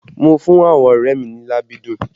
Mo fún àwọn ọrẹ mi ní làbídùn